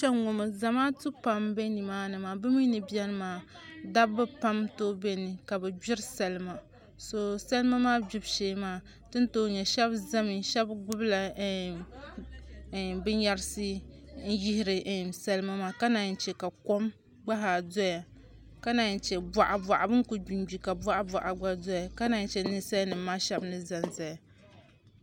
Kpɛŋŋo maa zamaatu pam n bɛ nimaani maa bi mii ni biɛni maa dabba n tooi bɛ ni ka bi gbiri salima so salima maa gbibu shee maa tin tooi nyɛ shab ʒɛmi shab gbubila binyɛrisi n yihiri salima maa ka naan chɛ ka kom gba zaa doya ka naan chɛ bin ku gbingbi ka boɣa boɣa doya ka naan chɛ ninsal nim ŋo shab ni ʒɛnʒɛya